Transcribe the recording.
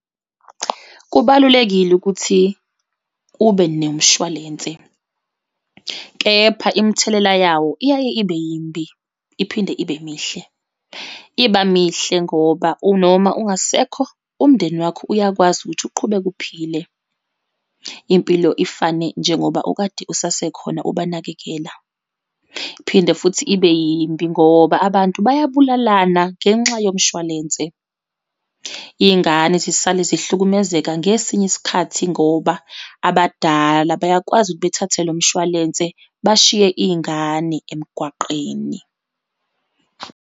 Kubalulekile ukuthi ube nemshwalense, kepha imithelela yawo iyaye ibe yimbi, iphinde ibe mihle. Iba mihle ngoba unoma ungasekho umndeni wakho uyakwazi ukuthi uqhubeke uphile, impilo ifane njengoba okade usasekhona ubanakekela. Phinde futhi ibe yimbi, ngoba abantu bayabulalana ngenxa yomshwalense. Iy'ngane zisale zihlukumezeka ngesinye isikhathi ngoba abadala bayakwazi ukuthi bethathe lo mshwalense bashiye iy'ngane emgwaqeni.